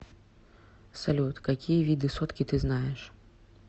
салют какие виды сотки ты знаешь